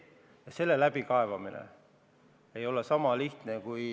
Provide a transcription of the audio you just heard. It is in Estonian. Ja selle läbikaevamine ei ole lihtne.